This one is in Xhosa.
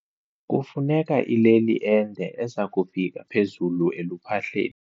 Kufuneka ileli ende eza kufika phezulu eluphahleni.